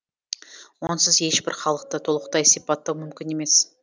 онсыз ешбір халықты толықтай сипаттау мүмкін емес